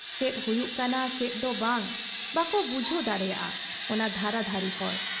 ᱪᱮᱫ ᱦᱩᱭᱩᱜ ᱠᱟᱱᱟ ᱪᱮᱫ ᱫᱚ ᱵᱟᱝ, ᱵᱟᱠᱚ ᱵᱩᱡᱷᱟᱹᱣ ᱫᱟᱲᱮᱭᱟᱜ ᱟ ᱚᱱᱟ ᱫᱷᱟᱨᱟ ᱫᱷᱟᱨᱤ ᱦᱚᱲ ᱾